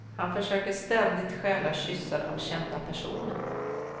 Han försöker ständigt stjäla kyssar av kända personer.